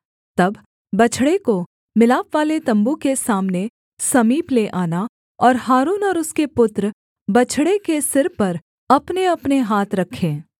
तब बछड़े को मिलापवाले तम्बू के सामने समीप ले आना और हारून और उसके पुत्र बछड़े के सिर पर अपनेअपने हाथ रखें